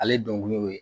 Ale dɔnkiliw ye